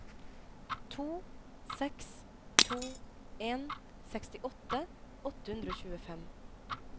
to seks to en sekstiåtte åtte hundre og tjuefem